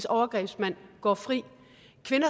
overgrebsmænd går fri